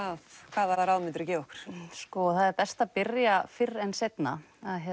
hvaða ráð myndiru gefa okkur það er best að byrja fyrr en seinna